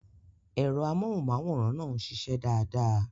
Ẹ̀rọ amóhùnmáwòrán náà ń ṣiṣẹ́ dáadáa.